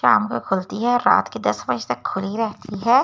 शाम को खुलती है और रात के दस बजे तक खुली रहती है ये इस --